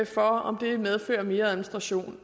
for om det medfører mere administration